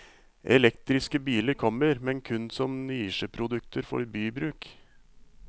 Elektriske biler kommer, men kun som nisjeprodukter for bybruk.